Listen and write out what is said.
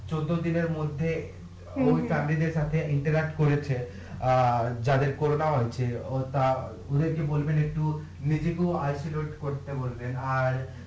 চৌদ্দ দিনের মধ্যে করেছে অ্যাঁ যাদের ওতা ওদের কে বলবেন একটু করতে বলবেন আর